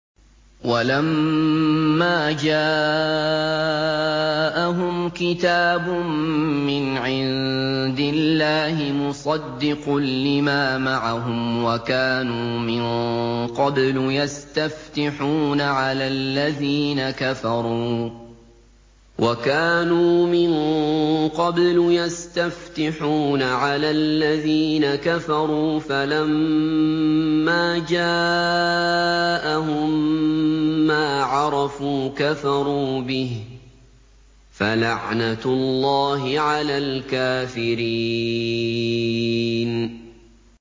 وَلَمَّا جَاءَهُمْ كِتَابٌ مِّنْ عِندِ اللَّهِ مُصَدِّقٌ لِّمَا مَعَهُمْ وَكَانُوا مِن قَبْلُ يَسْتَفْتِحُونَ عَلَى الَّذِينَ كَفَرُوا فَلَمَّا جَاءَهُم مَّا عَرَفُوا كَفَرُوا بِهِ ۚ فَلَعْنَةُ اللَّهِ عَلَى الْكَافِرِينَ